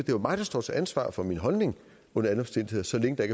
jo mig der står til ansvar for min holdning under alle omstændigheder så længe der